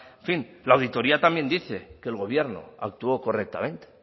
en fin la auditoría también dice que el gobierno actuó correctamente